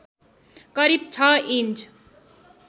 करिब ६ इन्च